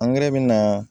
Angɛrɛ bɛ na